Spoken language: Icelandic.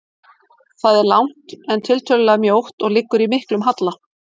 Það er langt, en tiltölulega mjótt og liggur í miklum halla.